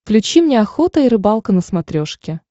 включи мне охота и рыбалка на смотрешке